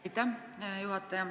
Aitäh, hea juhataja!